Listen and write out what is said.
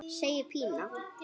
segir Pína.